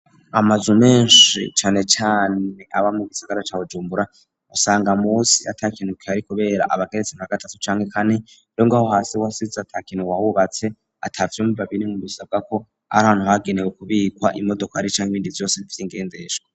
Amazu menshi canecane aba mu gisigara cawujumbura usanga musi atakinuke yari, kubera abageretse nka gatatu canke kane rengo aho hasi wasize atakinuke wahubatse ata vyumubabiri mu bisabwa ko ari hantu hagenewe ukubikwa imodoko ari canke ibindi vyose vyoingenzesha.